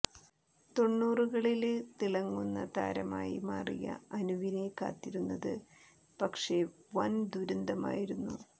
തൊണ്ണൂറുകളില് തിളങ്ങുന്ന താരമായി മാറിയ അനുവിനെ കാത്തിരുന്നത് പക്ഷേ വന് ദുരന്തമായിരുന്നു